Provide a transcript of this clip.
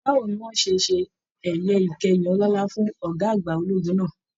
Báwo ní wọn ṣe ẹyẹ ìkẹyìn ọlọlá fún ọgá àgbà ológun náà?